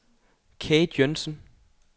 Kate Joensen